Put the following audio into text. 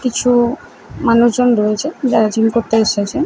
কিছু মানুষ জন রয়েছে যারা জিম করতে এসেছে।